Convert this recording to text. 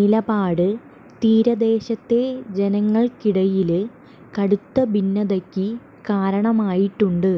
നിലപാട് തീരദേശത്തെ ജനങ്ങള്ക്കിടയില് കടുത്ത ഭിന്നതക്ക് കാരണമായിട്ടുണ്ട്